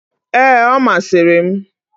Ee, ọ masịrị m.